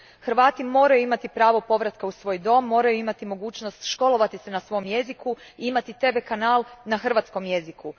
Hrvati moraju imati pravo povratka u svoj dom, moraju imati mogućnost školovati se na svom jeziku i imati tv kanal na hrvatskom jeziku.